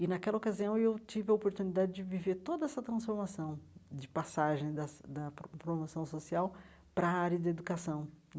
E, naquela ocasião, eu tive a oportunidade de viver toda essa transformação de passagem das da pro promoção social para a área de educação.